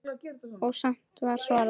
Og samt var svarað.